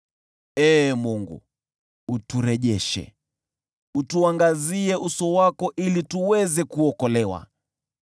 Ee Mungu, uturejeshe, utuangazie uso wako, ili tuweze kuokolewa.